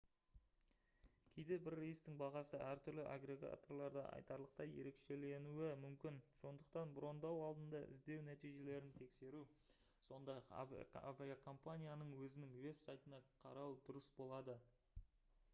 кейде бір рейстің бағасы әртүрлі аггрегаторларда айтарлықтай ерекшеленуі мүмкін сондықтан броньдау алдында іздеу нәтижелерін тексеру сондай-ақ авиакомпанияның өзінің веб-сайтына қарау дұрыс болады